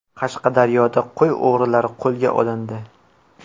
Qashqadaryoda qo‘y o‘g‘rilari qo‘lga olindi.